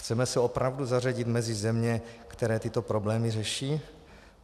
Chceme se opravdu zařadit mezi země, které tyto problémy řeší?